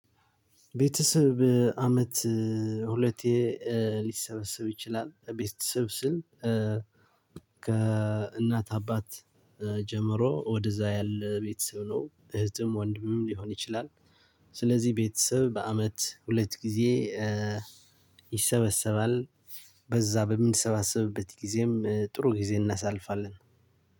ቤተሰብ አመት ሁለቴ ሊሰበሰብ ይችላል ቤተሰብ ስል ከእናት አባት ጀምሮ ወደዛ ያለ ቤተሰብ ነው እህትም ወንድምም ሊሆን ይችላል ስለዚህ ቤተሰብ በአመት ሁለት ጊዜ ይሰበሰባል። በዛ በምንሰባሰብበት ጊዜም ጥሩ ጊዜ እናሳልፋለን።